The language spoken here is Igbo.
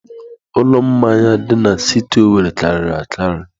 Ụlọ mmanya dị na siti Owerre karịrị akarị.